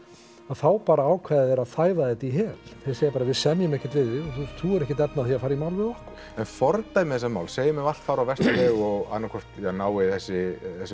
þá bara ákveða þeir að þæfa þetta í hel þeir segja bara við semjum ekkert við þig og þú hefur ekkert efni á því að fara í mál við okkur en fordæmi þessa máls segjum að allt fari á versta veg og annað hvort ja nái þessi